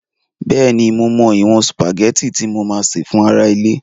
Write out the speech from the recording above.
Bẹ́ẹ̀ni, mo mọ ìwọ̀n sùpàgẹ́tì tí mo máa sè fún ará ilé